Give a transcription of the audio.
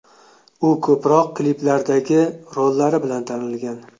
U ko‘proq kliplardagi rollari bilan tanilgan.